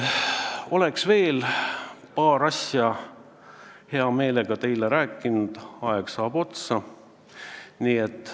Oleksin veel paari asja hea meelega teile rääkinud, aga aeg saab otsa.